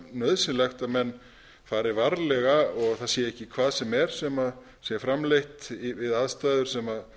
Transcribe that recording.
nauðsynlegt að menn fari varlega og það sé ekki hvað sem er sem sé framleitt við aðstæður sem